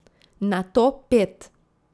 Nato pet.